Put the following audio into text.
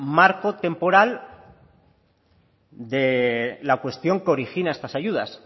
marco temporal de la cuestión que origina estas ayudas